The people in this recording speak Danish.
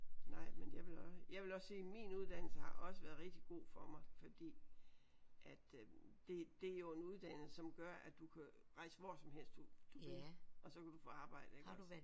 Nej men jeg vil også jeg vil også sige min uddannelse har også været rigtig god for mig fordi at øh det det er jo en uddannelse som gør at du kan rejse hvor som helst du du vil og så kan du få arbejde iggås